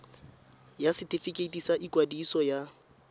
ya setefikeiti sa ikwadiso ya